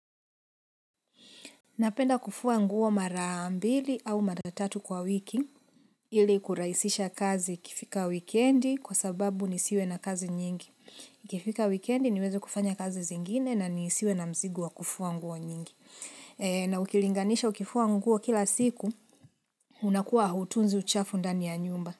Napenda kufua nguo mara mbili au mara tatu kwa wiki ili kurahisisha kazi ikifika wikendi kwa sababu nisiwe na kazi nyingi. Ikifika wikendi niweze kufanya kazi zingine na nisiwe na mzigi wa kufua nguo nyingi. Na ukilinganisha ukifuwa nguo kila siku unakuwa hautunzi uchafu ndani ya nyumba.